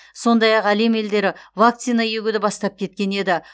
сондай ақ әлем елдері вакцина егуді бастап кеткен еді